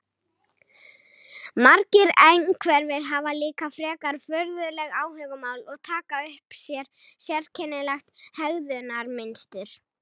Margir einhverfir hafa líka frekar furðuleg áhugamál og taka upp sérkennilegt hegðunarmynstur.